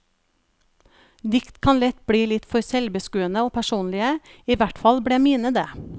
Dikt kan lett bli litt for selvbeskuende og personlige, i hvert fall ble mine det.